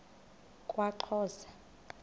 kwaxhosa